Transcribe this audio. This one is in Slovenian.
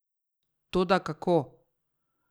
Toda kako?